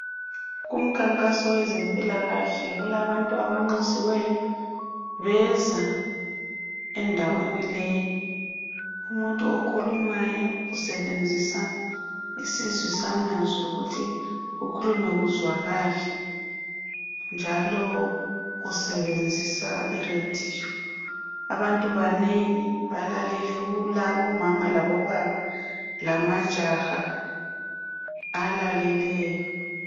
abantu abanxusiweyo endaweni leyiumuntu okhulumayo usebenzisa esizwisa amazwi ukuthi ukhuluma kuzwakale njalo usebenzisa iradio abantu banengi balalele kulabo mama labobaba lamajaha alaleleyo